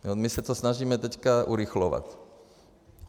My se to snažíme teďka urychlovat.